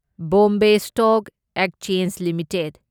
Bombay stock exchange limited